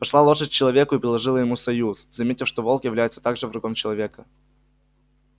пошла лошадь к человеку и предложила ему союз заметив что волк является также врагом человека